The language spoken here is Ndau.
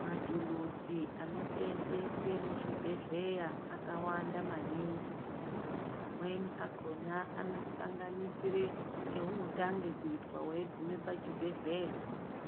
Matuluzi anosenzeswe muzvibhedhleya akawanda maningi amweni akhona anosanganisire eunotange kuitwa weigume pachibhedhleya